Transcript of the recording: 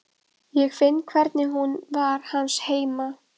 Ég finn hvernig hún var hans heima.